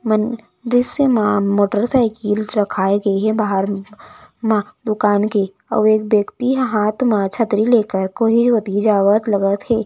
मन दृस्य मे मोटर साइकिल रखाए गे हे बाहर म दुकान के अऊ एक व्यक्ति ह हाथ म छतरी लेकर कोई रोहति जावत लगत हे।